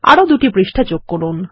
আরো দুটি পৃষ্ঠা যোগ করুন